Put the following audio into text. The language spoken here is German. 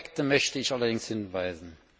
Auf zwei Aspekte möchte ich allerdings hinweisen.